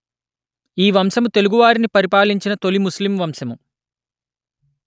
ఈ వంశము తెలుగు వారిని పరిపాలించిన తొలి ముస్లిం వంశము